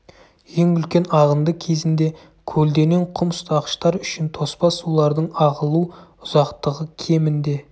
ең үлкен ағынды кезінде көлденең құм ұстағыштар үшін тоспа сулардың ағылу ұзақтығы кемінде